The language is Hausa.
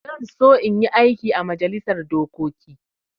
Zan so in yi aiki ã majalisar dokoki.